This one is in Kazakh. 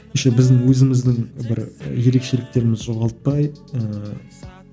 еще біздің өзіміздің бір і ерекшеліктерімізді жоғалтпай ыыы